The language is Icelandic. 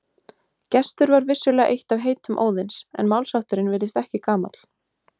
Gestur var vissulega eitt af heitum Óðins en málshátturinn virðist ekki gamall.